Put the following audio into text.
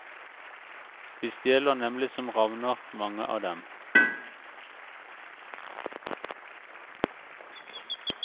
De stjeler nemlig som ravner, mange av dem.